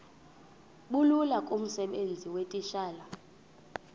bulula kumsebenzi weetitshala